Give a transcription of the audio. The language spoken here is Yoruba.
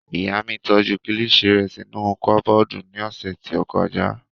Ìyá mi tọ́jú kilishi rẹ̀ sínú kọ́bọ̀dù ní ọ̀sẹ̀ tí ó kọjá